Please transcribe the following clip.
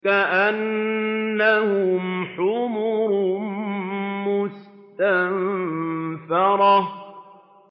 كَأَنَّهُمْ حُمُرٌ مُّسْتَنفِرَةٌ